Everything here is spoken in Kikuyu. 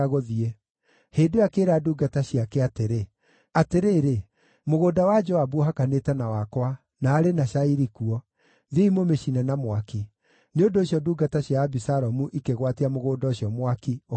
Hĩndĩ ĩyo akĩĩra ndungata ciake atĩrĩ, “Atĩrĩrĩ, mũgũnda wa Joabu ũhakanĩte na wakwa, na arĩ na cairi kuo. Thiĩi mũmĩcine na mwaki.” Nĩ ũndũ ũcio ndungata cia Abisalomu ikĩgwatia mũgũnda ũcio mwaki ũkĩhĩa.